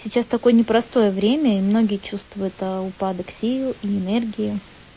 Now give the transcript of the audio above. сейчас такое непростое время и многие чувствуют ээ упадок сил и энергии